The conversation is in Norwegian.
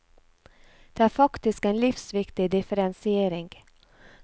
Det er faktisk en livsviktig differensiering.